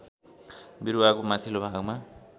बिरुवाको माथिल्लो भागमा